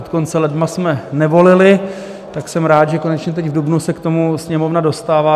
Od konce ledna jsme nevolili, tak jsem rád, že konečně teď v dubnu se k tomu Sněmovna dostává.